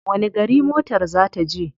Wani gari motar ta za je?